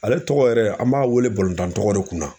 Ale tɔgɔ yɛrɛ an b'a wele balontan tɔgɔ de kun na..